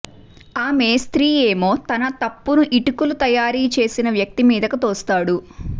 ఆ మేస్త్రీ ఏమో తన తప్పును ఇటుకలు తయారు చేసిన వ్యక్తి మీదకు తోస్తాడు